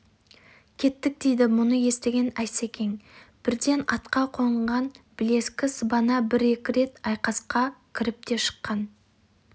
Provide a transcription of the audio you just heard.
кеттік дейді мұны естіген асекең бірден атқа қонған білескі сыбана бір-екі рет айқасқа кіріп те шыққан